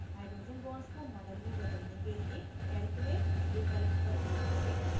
hydrogen bonds को model में बदलने के लिए calculate विकल्प पर click करें